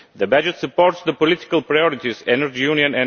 The budget supports the political priorities the Energy Union